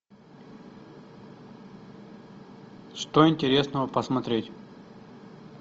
что интересного посмотреть